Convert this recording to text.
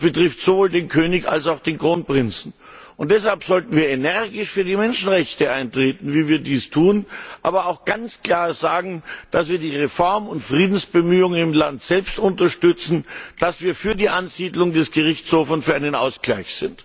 Das betrifft sowohl den König als auch den Kronprinzen. Deshalb sollten wir energisch für die Menschenrechte eintreten, wie wir dies tun, aber auch ganz klar sagen, dass wir die Reform und Friedensbemühungen im Land selbst unterstützen, dass wir für die Ansiedlung des Gerichtshofs und für einen Ausgleich sind!